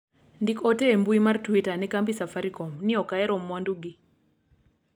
ndik ote e mbui mar twita ne kambi safarikom ni ok ahero mwandu gi